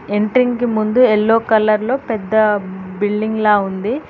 Entering కి ముందు yellow colour లో పెద్ద బిల్డింగ్లా ఉంది.